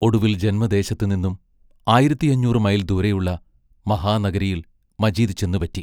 ഒടുവിൽ ജന്മദേശത്തുനിന്നും ആയിരത്തിയഞ്ഞൂറു മൈൽ ദൂരെയുള്ള മഹാനഗരിയിൽ മജീദ് ചെന്നുപറ്റി.